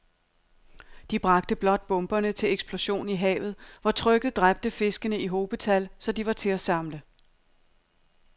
De bragte blot bomberne til eksplosion i havet, hvor trykket dræbte fiskene i hobetal, så de var til at samle